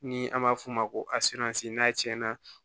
Ni an b'a f'o ma ko n'a tiɲɛna